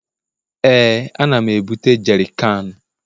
Ee, ana m ebute jerikan